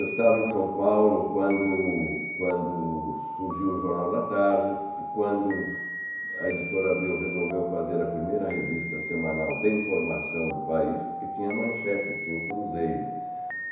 Eu estava em São Paulo quando quando surgiu o Jornal da Tarde, quando a Editora Abril resolveu fazer a primeira revista semanal de informação do país, porque tinha manchete, tinha o Cruzeiro.